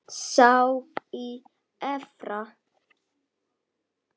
Sá í Efra.